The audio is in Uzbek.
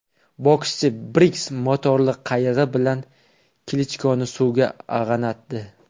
Bokschi Briggs motorli qayig‘i bilan Klichkoni suvga ag‘anatdi .